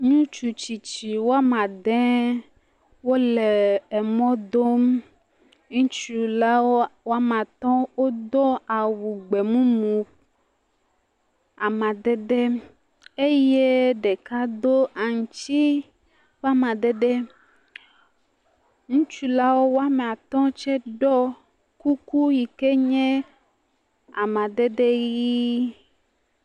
Ŋutsu tsitsi wɔme ade wole emɔ dom. Ŋutsu la wo wɔme atɔ̃ wodo awu gbemumu amadede eye ɖeka do aŋtsi ƒe amadede. Ŋutsu la wo ame atɔ̃ tse ɖo kuku yike nye amadede ʋi.